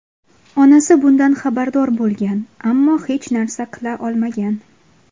Onasi bundan xabardor bo‘lgan, ammo hech narsa qila olmagan.